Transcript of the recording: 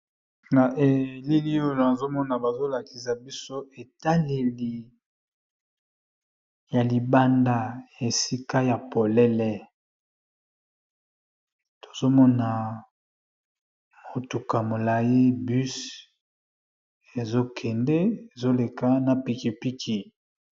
Na elili oyo azomona bazo lakisa biso etaleli ya libanda esika ya polele tozomona motuka molayi bus ezokende ezoleka na pikipiki.